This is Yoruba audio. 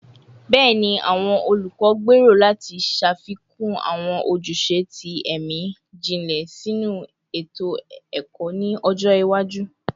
Bẹẹni, awọn olukọ gbero lati ṣafikun awọn ojuse ti ẹmi jinlẹ sinu eto-ẹkọ ni ọjọ iwaju